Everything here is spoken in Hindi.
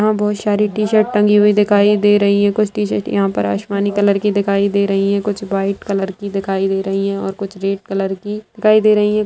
यहा बहुत सारी टी-शर्ट टंगी हुई दिखाई दे रही है कुछ टी-शर्ट यहा पर आसमानी कलर की दिखाई दे रही है कुछ व्हाइट कलर की दिखाई दे रही है और कुछ रेड कलर की दिखाई दे रही है।